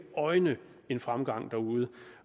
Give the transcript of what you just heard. øjne en fremgang derude